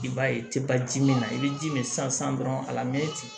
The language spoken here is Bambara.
I b'a ye i tɛ baji min na i bɛ ji min sisan dɔrɔn a lamɛnni tɛ